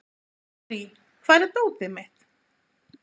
Gurrí, hvar er dótið mitt?